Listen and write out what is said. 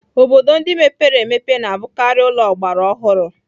Obodo ndị mepere emepe na-abụkarị ụlọ ọgbara ọhụrụ.